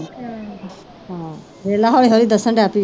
ਹਾਂ ਦੇਖ ਲਾ ਹੌਲੀ ਹੌਲੀ ਦੱਸਣ ਲੱਗ ਪਈ